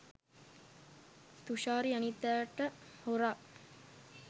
තුෂාරි අනිත් අයට හොරා